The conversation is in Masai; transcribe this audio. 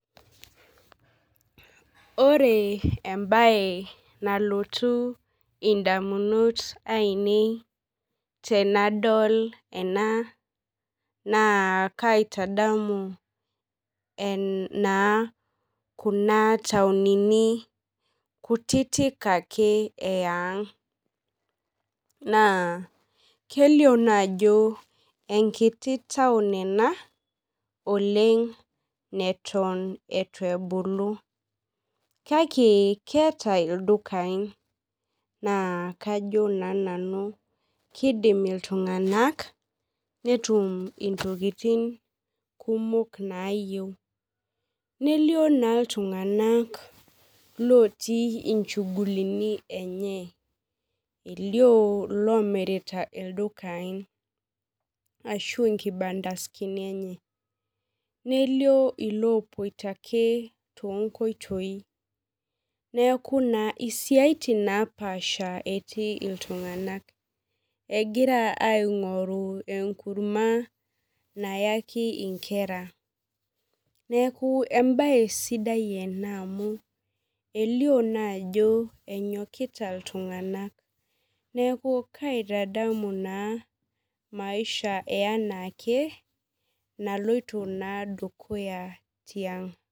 Ore embae nalotu ndamunot ainei tanadol ena na kaitadamu na kuna tauni kutitik ake eyaang na kelio naa ajo enkiti taun ena oleng naton itu ebulu kake keeta ldukai na kidim ltunganak netum ntokitin kumok nayieu nelio na ltunganak otii nchugulini elio lomirita ldukai ashu nkibandani enye nelio lopoito ake tonkoitoi neakubsiatin naapasha etii ltunganak egira aingoru enkurma nayaki nkera neaku embae sidai ena amu elio naa ajo enyokita ltunganak na kaitadamu anaake maisha naloito dukuya